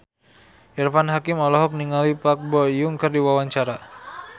Irfan Hakim olohok ningali Park Bo Yung keur diwawancara